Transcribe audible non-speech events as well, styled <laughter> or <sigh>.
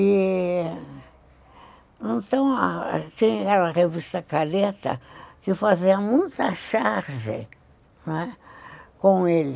E... Então, <unintelligible> tinha aquela revista careta que fazia muita charge, não é? com ele.